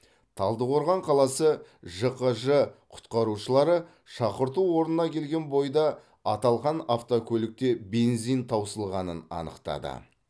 талдықорған қаласы жқж құтқарушылары шақырту орнына келген бойда аталған автокөлікте бензин таусылғанын анықтады